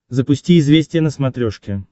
запусти известия на смотрешке